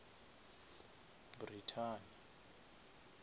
brithani